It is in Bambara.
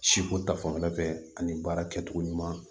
Siko ta fanfɛla fɛ ani baara kɛcogo ɲuman